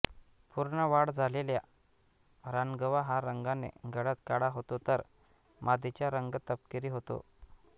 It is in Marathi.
पूर्ण वाढ झालेला रानगवा हा रंगाने गडद काळा होतो तर मादीचा रंग तपकिरी होतो